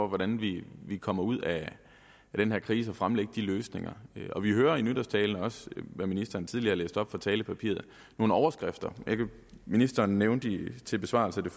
hvordan vi kommer ud af den her krise fremlægge de løsninger og vi hører i nytårstalen hvad ministeren også tidligere læste op fra talepapiret nogle overskrifter ministeren nævnte som besvarelse på